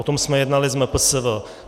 O tom jsme jednali s MPSV.